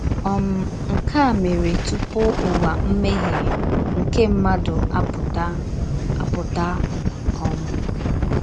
um Nke a mèrè tupù ùwà mmèhè nke mmádù ápùtà. ápùtà. um